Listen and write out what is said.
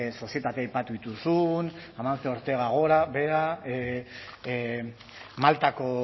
sozietate aipatu dituzun amancio ortega gora behera maltako